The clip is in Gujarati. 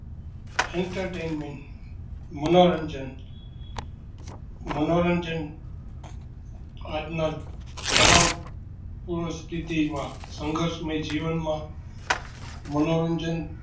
Entertainment મનોરંજન મનોરંજન આજ ના તનાવપૂર્ણ સ્થિતિ માં સંગર્શ્મય